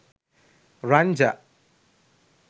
ranja